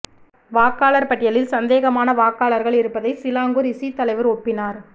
வாக்காளர் பட்டியலில் சந்தேகமான வாக்காளர்கள் இருப்பதை சிலாங்கூர் இசி தலைவர் ஒப்பினார்